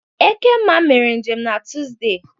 Ekemma emere njem n'Tụzde.